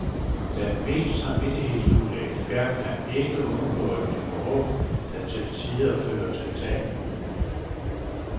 Selv den mest samvittighedsfulde ekspert kan ikke undgå at give råd, der til tider fører til tab.